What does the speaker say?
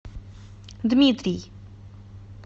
дмитрий